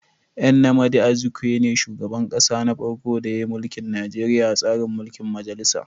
Nnamdi Azikwe ne shugaban kasa na farko da yin mulkin Nijeriya a tsarin mulkin majalisa